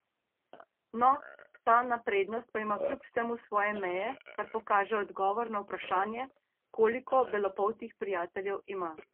No, ta naprednost pa ima kljub vsemu svoje meje, kar pokaže odgovor na vprašanje, koliko belopoltih prijateljev ima.